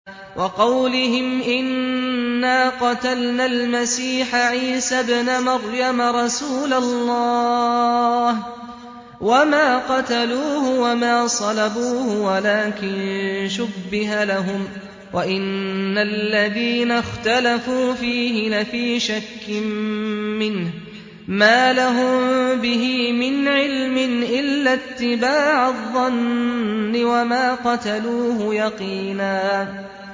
وَقَوْلِهِمْ إِنَّا قَتَلْنَا الْمَسِيحَ عِيسَى ابْنَ مَرْيَمَ رَسُولَ اللَّهِ وَمَا قَتَلُوهُ وَمَا صَلَبُوهُ وَلَٰكِن شُبِّهَ لَهُمْ ۚ وَإِنَّ الَّذِينَ اخْتَلَفُوا فِيهِ لَفِي شَكٍّ مِّنْهُ ۚ مَا لَهُم بِهِ مِنْ عِلْمٍ إِلَّا اتِّبَاعَ الظَّنِّ ۚ وَمَا قَتَلُوهُ يَقِينًا